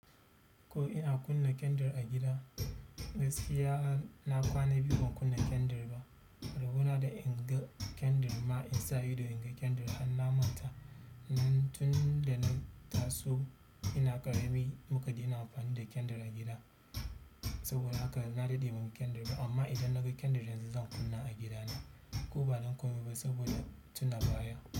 Ko ina kunna kendir a gida, gaskiya na kwana biyu ban kunna kendir ba. Rabo na da inga kendir ma in sa ido inga kendir har na manta. Nan tun da na taso ina ƙarami muka daina amfani da kendir a gida. Saboda haka na daɗe ban ga kendir ba. Amma idan na ga kendirin yanzu zan kunna a gidana ko ba don komai ba saboda tuna baya.